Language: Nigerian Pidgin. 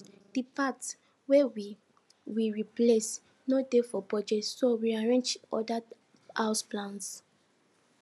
di parts wey we we replace no dey for budget so we rearrange other house plans